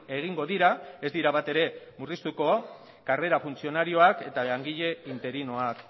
egingo dira ez dira batere murriztuko karrera funtzionarioak eta langile interinoak